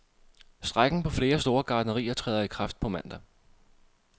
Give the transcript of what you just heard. Strejken på flere store gartnerier træder i kraft på mandag.